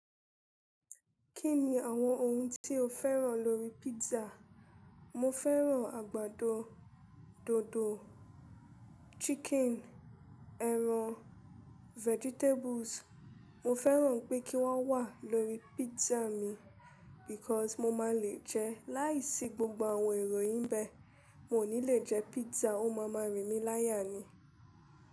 Kí ni àwọn ohun tí o fẹ́ràn lórí pizza? Mo fẹ́ràn àgbàdo, dodo, chicken, ẹran, vegetables. Mo fẹ́ràn pé kí wọ́n wà lórí pizza mi because mo máa le jẹ. Láìsí gbogbo àwọn èrò yìí ń bẹ́ẹ̀, n ò ní le jẹ pizza. Ó máa ma rìn mí láyà ni.